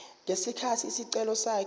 ngesikhathi isicelo sakhe